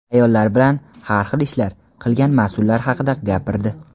ayollar bilan "har xil ishlar" qilgan mas’ullar haqida gapirdi.